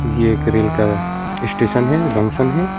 ये एक रेल का स्टेशन है जंक्शन है।